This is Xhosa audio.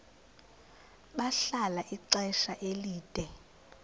bahlala ixesha elide